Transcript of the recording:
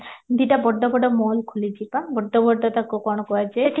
ଦିଟା ବଡ ବଡ mall ଖୋଲିଚି ପା ବଡ ବଡ ତାକୁ କଣ କୁହାଯାଏ